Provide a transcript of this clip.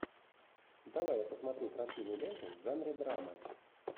давай я посмотрю красивую ленту в жанре драма